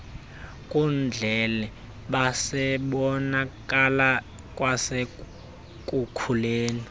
nkundleni bebebonakala kwasekukhuleni